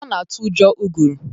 Ọ na-atụ ụjọ ụgụrụ